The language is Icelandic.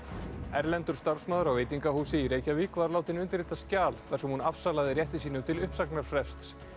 erlendur starfsmaður á veitingahúsi í Reykjavík var látinn undirrita skjal þar sem hún afsalaði rétti sínum til uppsagnarfrests